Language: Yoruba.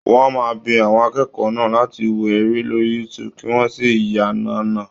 Wọ́n máa bi àwọn akẹ́kọ̀ọ́ náà láti wo eré lórí youtube kí wọ́n sì yànàná.